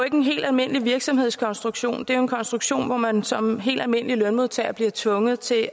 en helt almindelig virksomhedskonstruktion det er jo en konstruktion hvor man som helt almindelig lønmodtager bliver tvunget til